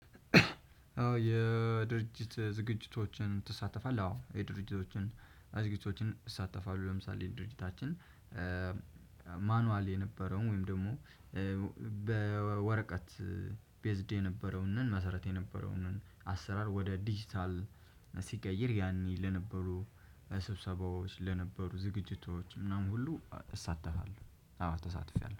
የድርጅት ዝግጅቶችን ትሳተፋለህ አዎ የድርጅቶችን ዝግጅቶችን እሳተፋለሁ ለምሳሌ ድርጅታችን ማኑዋል የነበረው ወይም ደግሞ በወረቀት ቤዝድ የነበረውን መሰረት የነበረውን አሰራር ወደ ዲጂታል ሲቀይር ያኔ ለነበሩ ስብሰባዎች ለነበሩ ዝግጅቶች ምናምን ሁሉ እሳተፋለሁ አዎ ተሳትፌያለሁ።